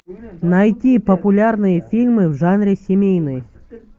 найти популярные фильмы в жанре семейный